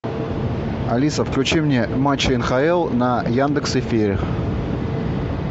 алиса включи мне матчи нхл на яндекс эфире